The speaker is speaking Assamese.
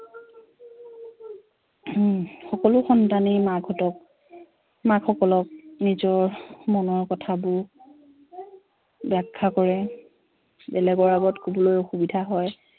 হম সকলো সন্তানেই মাকহঁত মাকসকলক নিজৰ মনৰ কথাবোৰ ব্য়াখ্য়া কৰে বেলেগৰ আগত কবলৈ অসুবিধা হয়